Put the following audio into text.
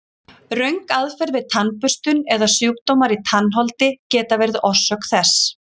Röng aðferð við tannburstun eða sjúkdómar í tannholdi geta verið orsök þess.